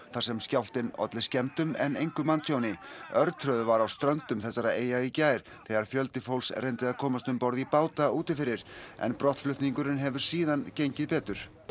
þar sem skjálftinn olli skemmdum en engu manntjóni örtröð var á ströndum þessara eyja í gær þegar fjöldi fólks reyndi að komast um borð í báta úti fyrir en brottflutningurinn hefur síðan gengið betur